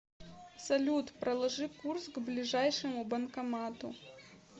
салют проложи курс к ближайшему банкомату